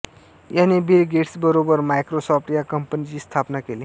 याने बिल गेट्सबरोबर मायक्रोसॉफ्ट या कंपनीची स्थापना केली